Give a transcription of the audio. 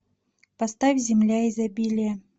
поставь земля изобилия